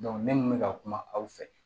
ne kun bɛ ka kuma aw fɛ